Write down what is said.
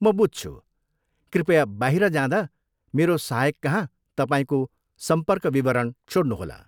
म बुझ्छु। कृपया बाहिर जाँदा मेरो सहायककहाँ तपाईँको सम्पर्क विवरण छोड्नुहोला।